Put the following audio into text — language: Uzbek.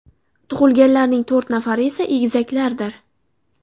Tug‘ilganlarning to‘rt nafari esa egizaklardir.